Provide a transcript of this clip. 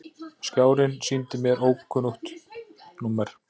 Skjárinn sýndi ókunnugt númer.